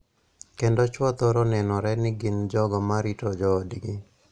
Kendo chwo thoro nenore ni gin jogo ma rito joodgi.